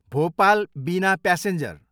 भोपाल, बिना प्यासेन्जर